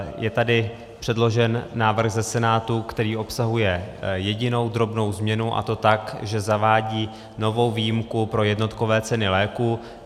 Je tady předložen návrh ze Senátu, který obsahuje jedinou drobnou změnu, a to tak, že zavádí novou výjimku pro jednotkové ceny léků.